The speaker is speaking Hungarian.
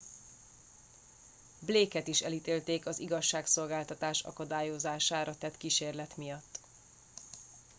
blake et is elítélték az igazságszolgáltatás akadályozására tett kísérlet miatt